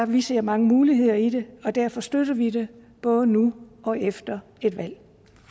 vi ser mange muligheder i det og derfor støtter vi det både nu og efter et valg